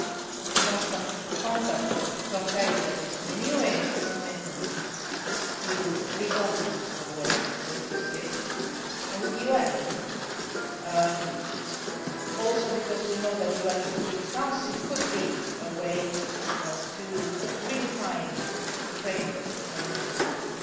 I am in constant contact with John Kerry, who is renewing his commitment to reopen the way for negotiations and with the UN, also because we know that the UN Security Council could be a way to redefine the framework of an initiative.